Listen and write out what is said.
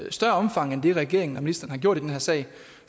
i større omfang end det regeringen og ministeren har gjort i den her sag